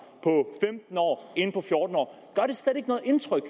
end på fjorten år gør det slet ikke noget indtryk